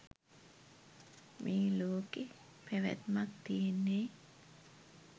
මේ ලෝකෙ පැවැත්මක් තියෙන්නේ